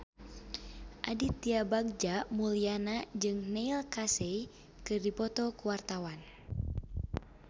Aditya Bagja Mulyana jeung Neil Casey keur dipoto ku wartawan